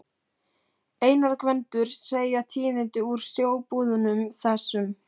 Einar og Gvendur segja tíðindi úr sjóbúðunum, þessum